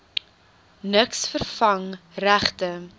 niks vervang regte